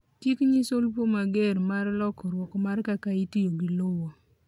chik nyiso lupo mager mar lokruok mar kaka itiyo gi lowo